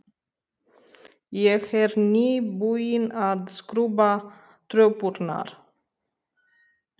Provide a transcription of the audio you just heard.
Ég er nýbúin að skrúbba tröppurnar.